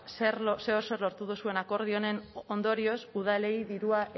zer edo zer lortu duzuen akordio honen ondorioz udalei dirua